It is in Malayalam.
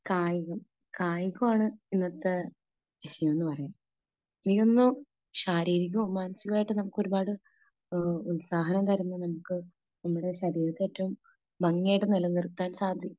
കായികം കായികമാണ് ഇന്നത്തെ വിഷയം എന്ന് പറയാം . ഇതിൽ നിന്നു ശാരീരികവും മാനസികവുമായിട്ട് നമുക്ക് ഒരുപാട് ഉത്സാഹം തരുന്ന നമുക്ക് നമ്മുടെ ശരീരത്തെ ഏറ്റവും ഭംഗിയായിട്ട് നിലനിർത്താൻ സാധി